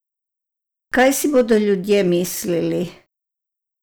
Kaj si bodo ljudje mislili?